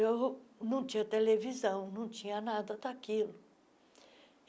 Eu não não tinha televisão, não tinha nada daquilo.